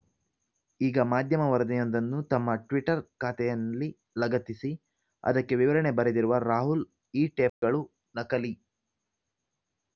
ಈಗ ಮಾಧ್ಯಮ ವರದಿಯೊಂದನ್ನು ತಮ್ಮ ಟ್ವೀಟರ್‌ ಖಾತೆಯಲ್ಲಿ ಲಗತ್ತಿಸಿ ಅದಕ್ಕೆ ವಿವರಣೆ ಬರೆದಿರುವ ರಾಹುಲ್‌ ಈ ಟೇಪ್‌ಗಳು ನಕಲಿ